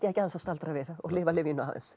ekki aðeins að staldra við og lifa lífinu aðeins